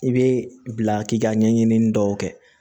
I bɛ bila k'i ka ɲɛɲinini dɔw kɛ